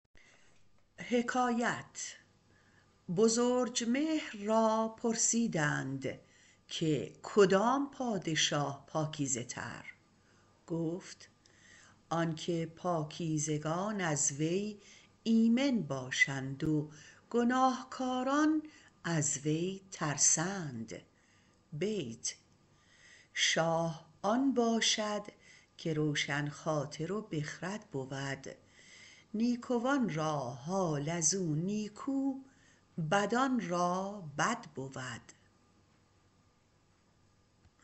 بزرجمهر را پرسیدند که کدام پادشاه پاکیزه تر گفت آن که پاکیزگان از وی ایمن باشند و گناهکاران از وی ترسند شاه آن باشد که روشن خاطر و بخرد بود نیکوان را حال ازو نیکو بدان را بد بود